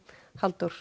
Halldór